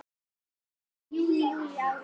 Júní Júlí Ágúst